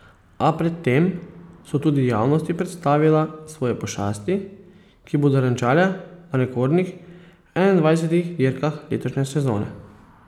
A pred tem so tudi javnosti predstavila svoje pošasti, ki bodo renčale na rekordnih enaindvajsetih dirkah letošnje sezone.